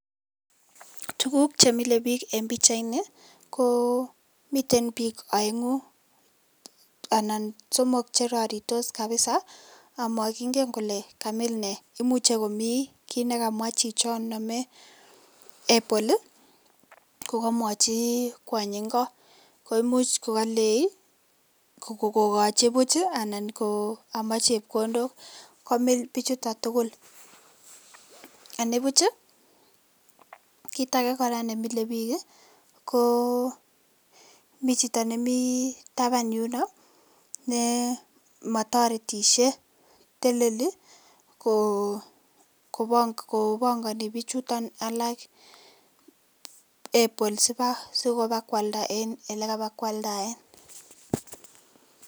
Tuguk chemile bik en pichaini komiten bik oengu anan somok cheroritos kabisa omokinge kole kamil nee imuche komi kii nekamwaa chichon nome apple kokomwoji kwany inko koimuj kokolei kokoji buj anan kokomach chepkondok komil bichuto tugul , anibuch ii kitakee nemile bik ii koo mi chito nemi taban yuno nemotoretishe teleli kobongoni bichuton ii alak apple sikobakwalda en elekabakwaldaen.